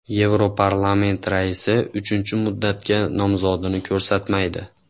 Yevroparlament raisi uchinchi muddatga nomzodini ko‘rsatmaydi.